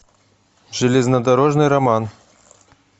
железнодорожный роман